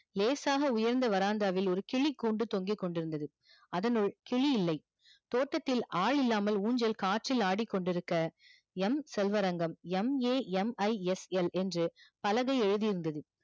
லேசாக உயர்ந்த verandah ஒரு கிளி கூண்டு தொங்கிக்கொண்டு இருந்தது அதனுள் கிளி இல்லை தோட்டத்தில் ஆள் இல்லாமல் உஞ்சல் காற்றில் ஆடிக்கொண்டு இருக்க M செல்வரங்கம் MAMISL என்று பலகை எழுதி இருந்தது